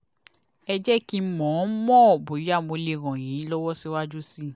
ẹ jẹ́ kí n mọ̀ n mọ̀ bóyá mo lè ràn yín lọ́wọ́ síwájú sí i